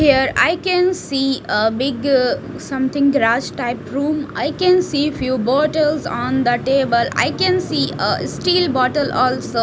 here I can see a big something grass type room I can see few bottles on the table I can see a steel bottle also .